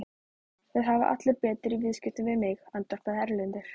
Það hafa allir betur í viðskiptum við mig, andvarpaði Erlendur.